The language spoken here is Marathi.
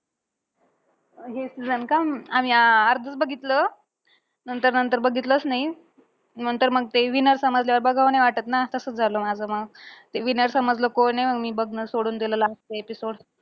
हे season का? आम्ही अं अर्धचं बघितलं. नंतर नंतर बघितलंच नाही. नंतर मंग ते winner समजल्यावर बघावं नाही वाटतं ना, तसंच झालं माझं मंग. ते winner समजलं कोण आहे, मग मी बघणं सोडून दिलं last चे episode.